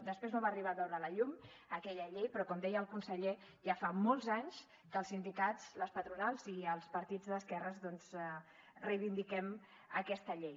després no va arribar a veure la llum aquella llei però com deia el conseller ja fa molts anys que els sindicats les patronals i els partits d’esquerres doncs reivindiquem aquesta llei